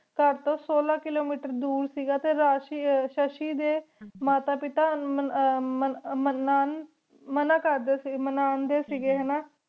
ਘਰ ਤੋ ਸੋਲਾ ਕਿਲੋਮੀਟਰ ਦੂਰ ਸੇ ਗਾ ਟੀ ਸ਼ਸ਼ੀ ਦੇ ਮਾਤਾ ਪਿਤਾ ਮਨਾ ਕਰਦੀ ਸੇ ਮਨਦੀ ਸੇ ਹੈਨਾ